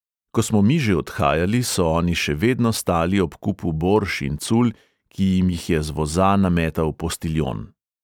Ko smo mi že odhajali, so oni še vedno stali ob kupu borš in cul, ki jim jih je z voza nametal postiljon.